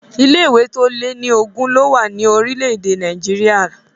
Ilé-ìwé tó lé ní ogún lówà ní orílẹ̀-èdè Nàìgéríà.